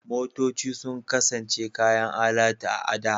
Motoci sun kasance kayan alatu a da.